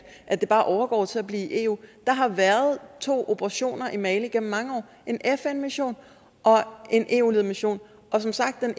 at det bare overgår til at blive eu der har været to operationer i mali igennem mange år en fn mission og en eu ledet mission og som sagt er